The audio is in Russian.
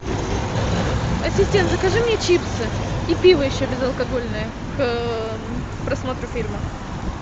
ассистент закажи мне чипсы и пиво еще безалкогольное к просмотру фильма